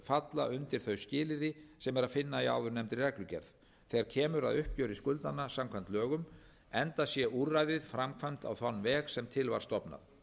falla undir þau skilyrði sem er að finna í áðurnefndri reglugerð þegar kemur að uppgjöri skuldanna samkvæmt lögunum enda sé úrræðið framkvæmt á þann veg sem til var stofnað